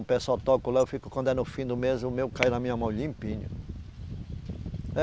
O pessoal toca lá, eu fico. Quando é no fim do mês, o meu cai na minha mão limpinho.